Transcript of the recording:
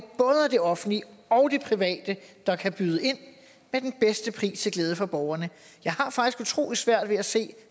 det offentlige og det private der kan byde ind med den bedste pris til glæde for borgerne jeg har faktisk utrolig svært ved at se